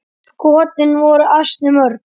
Skotin voru ansi mörg.